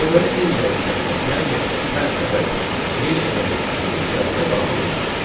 Deməli n dəyişəninə təyin edilən hər ədəd yeni element kimi siyahıya daxil olmur.